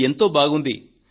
ఇది ఎంతో బాగుంది